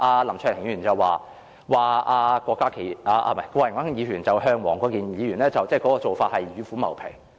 林卓廷議員剛才說，郭榮鏗議員向黃國健議員提出建議，等於是與虎謀皮。